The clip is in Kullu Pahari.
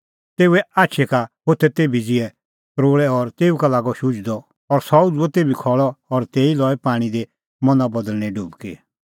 तेऊए आछी का होथै तेभी ज़िहै तरोल़ै और तेऊ का लागअ शुझदअ और सह उझ़ुअ तेभी खल़अ और तेऊ लई पाणीं दी मना बदल़णें डुबकी